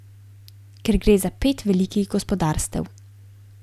Ker gre za pet velikih gospodarstev.